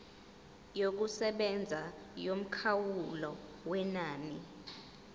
yokusebenza yomkhawulo wenani